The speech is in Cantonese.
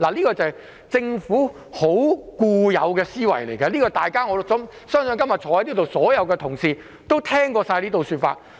這是政府的固有思維，我相信今天在座所有同事也聽過這種說法。